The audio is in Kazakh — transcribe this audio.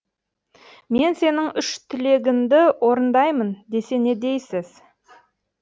мен сенің үш тілегінді орындаймын десе не дейсіз